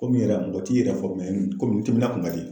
Komi yɛrɛ mɔgɔ t'i yɛrɛ fɔ komi n timina kun ka di